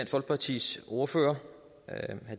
folkepartis ordfører herre